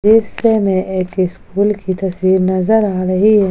दृश्य में एक स्कूल की तस्वीर नजर आ रही है।